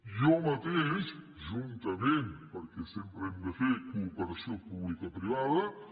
jo mateix juntament perquè sempre hem de fer cooperació publicoprivada